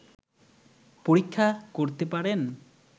পরীক্ষা করতে পারেন